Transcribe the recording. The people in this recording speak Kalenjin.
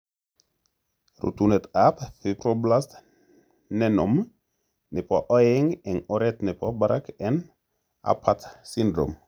Rutunet ap Fibroblast nenome nepo oeng en oret nepo barak en Apert syndrome.